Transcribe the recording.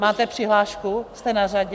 Máte přihlášku, jste na řadě?